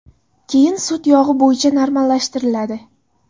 Keyin sut yog‘i bo‘yicha normallashtiriladi.